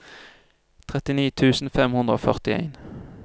trettini tusen fem hundre og førtien